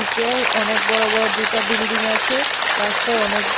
কেউ অনেক বড় বড় দুটা বিল্ডিং আছে রাস্তায় অনেক--